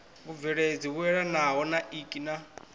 vhubveledzi vhuelanaho na ik na